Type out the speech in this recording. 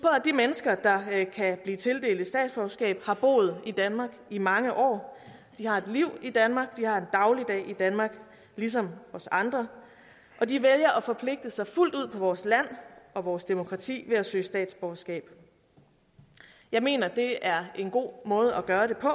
at de mennesker der kan blive tildelt et statsborgerskab har boet i danmark i mange år de har et liv i danmark de har en dagligdag i danmark ligesom os andre og de vælger at forpligte sig fuldt ud på vores land og vores demokrati ved at søge statsborgerskab jeg mener det er en god måde at gøre det på